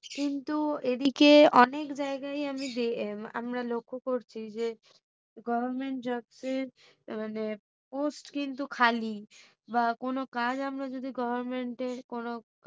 কিন্তু এইদিকে অনেক জায়গায় আমি দেখে~ আমরা লক্ষ করছি government jobs এর মানে post কিন্তু খালি বা কোনো কাজ আমরা যদি government এর